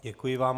Děkuji vám.